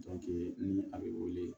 ni a bɛ wele